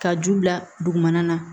Ka ju bila dugumana na